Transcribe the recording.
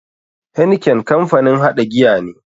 Heineken kamfanin haɗa giya ne.